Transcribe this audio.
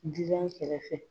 Jijan kɛrɛfɛ